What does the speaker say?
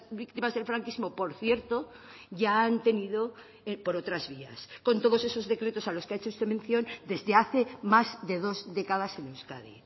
víctimas del franquismo por cierto ya han tenido por otras vías con todos esos decretos a los que ha hecho usted mención desde hace más de dos décadas en euskadi